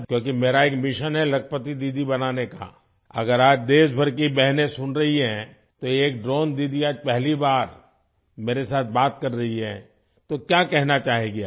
क्योंकि मेरा एक मिशन है लखपति दीदी बनाने का अगर आज देश भर की बहनें सुन रही हैं तो एक ड्रोन दीदी आज पहली बार मेरे साथ बात कर रही है तो क्या कहना चाहेंगी आप